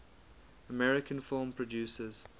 american film producers